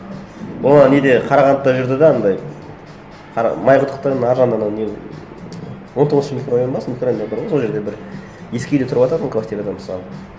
ол ана неде қарағандыда жүрді де анандай майқұдықтың ар жағында анау не он тоғызыншы микрорайон ба сол микрорайон бар ғой сол жерді бір ескі үйде тұрывататын квартирада мысалы